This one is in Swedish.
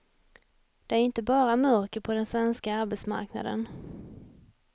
Det är inte bara mörker på den svenska arbetsmarknaden.